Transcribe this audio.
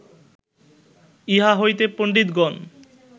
ইহা হইতে পণ্ডিতগণ